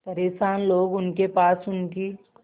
परेशान लोग उनके पास उनकी